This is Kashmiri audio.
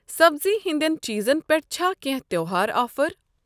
سبزی ہِنٛدٮ۪ن چیٖزن پٮ۪ٹھ چھا کینٛہہ تہٚوہار آفر؟